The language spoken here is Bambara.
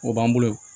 O b'an bolo